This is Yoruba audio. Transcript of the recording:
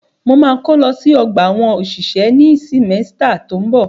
Mo ma kó lọ sí ọgbà àwọn òṣìṣẹ́ ní símẹ́stà tó ń bọ̀.